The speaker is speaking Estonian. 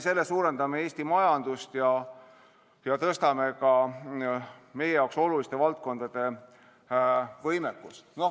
Sellega me tugevdame Eesti majandust ja tõstame ka meie jaoks oluliste valdkondade võimekust.